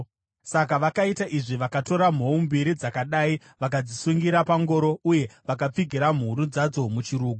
Saka vakaita izvi. Vakatora mhou mbiri dzakadai vakadzisungirira pangoro uye vakapfigira mhuru dzadzo muchirugu.